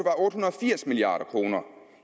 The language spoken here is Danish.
firs milliard kroner